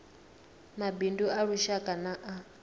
mabindu a lushaka na a